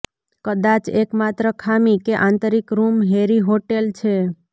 કદાચ એકમાત્ર ખામી કે આંતરિક રૂમ હેરી હોટેલ છે